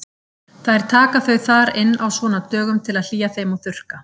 Þær taka þau þar inn á svona dögum til að hlýja þeim og þurrka.